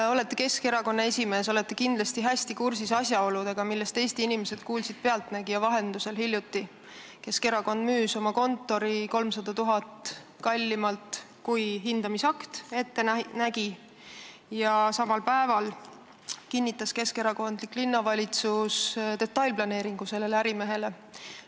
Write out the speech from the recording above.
Te olete Keskerakonna esimees ja olete kindlasti hästi kursis asjaoludega, millest Eesti inimesed hiljuti "Pealtnägija" vahendusel kuulsid: Keskerakond müüs oma kontori 300 000 eurot kallimalt, kui hindamisakt ette nägi, ja samal päeval kehtestas keskerakondlik linnavalitsus sellele ärimehele soodsa detailplaneeringu.